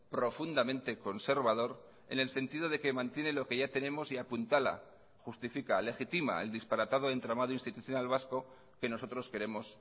profundamente conservador en el sentido de que mantiene lo que ya tenemos y apuntala justifica legitima el disparatado entramado institucional vasco que nosotros queremos